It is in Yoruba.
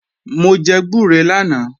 Mò jẹ gbúre lánàá